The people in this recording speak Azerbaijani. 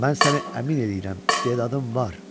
Mən səni əmin eləyirəm, istedadın var.